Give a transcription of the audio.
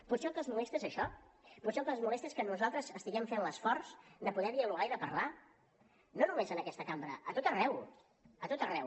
potser el que els molesta és això potser el que els molesta és que nosaltres estiguem fent l’esforç de poder dialogar i de parlar no només en aquesta cambra a tot arreu a tot arreu